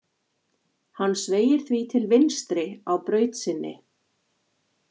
Hann sveigir því til vinstri á braut sinni.